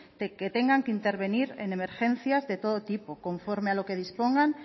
que tengan que intervenir en emergencias de todo tipo conforme a lo que dispongan